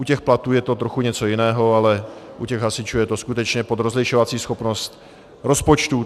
U těch platů je to trochu něco jiného, ale u těch hasičů je to skutečně pod rozlišovací schopnost rozpočtů.